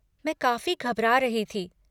मैं काफ़ी घबरा रही थी।